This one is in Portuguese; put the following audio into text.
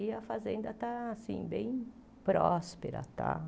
E a fazenda está assim bem próspera e tal.